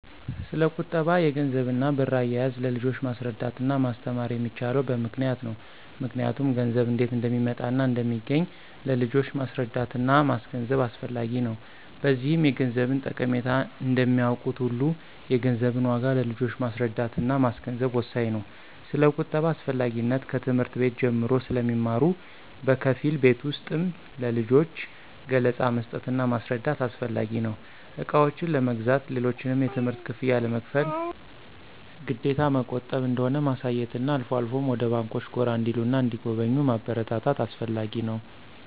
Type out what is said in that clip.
ስለቁጠባ፣ የገንዘብና ብር አያያዝ ለልጆች ማስረዳትና ማስተማር የሚቻለው በምክንያት ነው ምክንያቱም ገንዘብ እንዴት እንደሚመጣና እንደሚገኝ ለልጆች ማስረዳትና ማስገንዘብ አስፈላጊ ነው። በዚህም የገንዘብን ጠቀሜታ እንደሚያውቁት ሁሉ የገንዘብን ዋጋ ለልጆች ማስረዳትና ማስገንዘብ ወሳኝ ነው። ስለቁጠባ አስፈላጊነት ከትምህርት ቤት ጀምሮ ስለሚማሩ በከፊል ቤት ውስጥም ለልጆች ገለፃ መስጠትና ማስረዳት አስፈላጊ ነው። እቃዎችን ለመግዛት፣ ሌሎችንም የትምህርት ክፍያ ለመክፈል ግዴታ መቆጠብ እንደሆነ ማሳየትና አልፎ አልፎም ወደ ባንኮች ጎራ እንዲሉና እንዲጎበኙ ማበረታታት አስፈላጊ ነው።